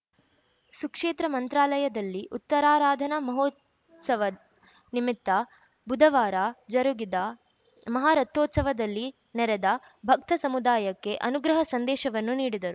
ಸುಕ್ಷೇತ್ರ ಮಂತ್ರಾಲಯದಲ್ಲಿ ಉತ್ತರಾರಾಧನಾ ಮಹೋತ್ಸವ ನಿಮಿತ್ತ ಬುಧವಾರ ಜರುಗಿದ ಮಹಾರಥೋತ್ಸವದಲ್ಲಿ ನೆರೆದ ಭಕ್ತ ಸಮುದಾಯಕ್ಕೆ ಅನುಗ್ರಹ ಸಂದೇಶವನ್ನು ನೀಡಿದರು